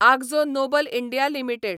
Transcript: Akzo Nobel India limited